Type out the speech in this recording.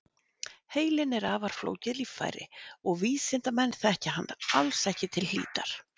Heilinn er afar flókið líffæri og vísindamenn þekkja hann alls ekki til hlítar.